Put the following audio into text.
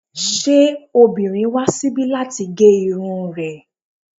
Ṣé obìnrin wá síbi láti gé irun rẹ̀?